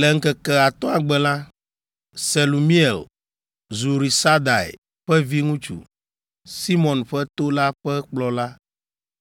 Le ŋkeke atɔ̃a gbe la, Selumiel, Zurisadai ƒe viŋutsu, Simeon ƒe to la ƒe kplɔla,